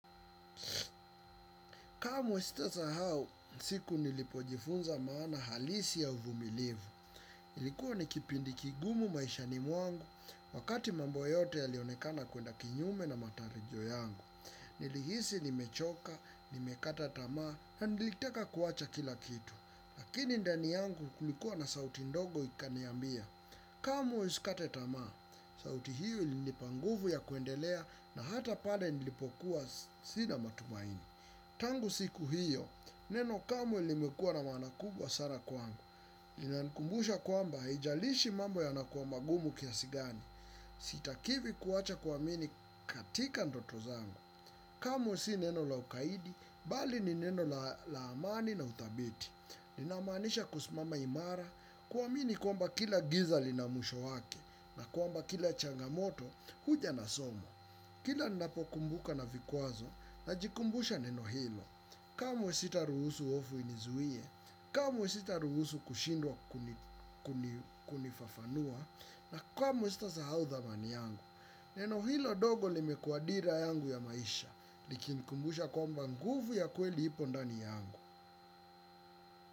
Kamwe sitasahau siku nilipojifunza maana halisi ya uvumilivu. Ilikuwa nikipindi kigumu maisha mwangu wakati mambo yote ya lionekana kwenda kinyume na matarijo yangu. Nilihisi nimechoka, nimekata tamaa, na nilitaka kuwacha kila kitu. Lakini ndani yangu kulikuwa na sauti ndogo ikaniambia kamwe uikate tamaa, sauti hiyo ilinipa nguvu ya kuendelea na hata pale nilipokuwa sina matumaini. Tangu siku hiyo, neno kamwe limekuwa na maana kubwa sana kwangu. Linanikumbusha kwamba, haijalishi mambo yanakuwa magumu kiasi gani. Sitakiwi kuacha kuamini katika ndoto zangu. Kamqe si neno la ukaidi, bali ni neno la amani na uthabiti linamanisha kusimama imara kuamini kwamba kila giza lina mwisho wake na kwamba kila changamoto huja na somo. Kila ninapokumbuka na vikwazo najikumbusha neno hilo. Kamww sita ruhusu hofu inizuie, kamwe sita ruhusu kushindwa kunifafanua na kamwe sita sahau dhamani yangu. Neno hilo dogo limekuwa dira yangu ya maisha likinikumbusha kwamba nguvu ya kweli ipo ndani yangu.